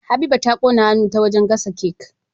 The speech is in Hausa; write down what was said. Habiba ta ƙona hannun ta wajan gasa cake